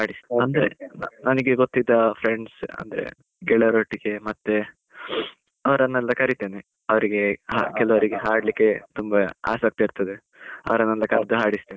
ಅಂದ್ರೆ, ನನಗೆ ಗೊತ್ತಿರುವ friends ಅಂದ್ರೆ ಗೆಳೆಯರೊಟ್ಟಿಗೆ ಮತ್ತೆ, ಅವರನ್ನೆಲ್ಲ ಕರೀತೇನೆ ಅವರಿಗೆ ಕೆಲವರಿಗೆ ಹಾಡ್ಲಿಕ್ಕೆ ತುಂಬಾ ಆಸಕ್ತಿ ಇರುತ್ತದೆ ಅವರನ್ನೆಲ್ಲ ಕರ್ದು ಹಾಡಿಸ್ತೇನೆ.